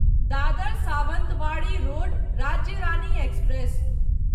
Dadar Sawantwadi Road Rajya Rani express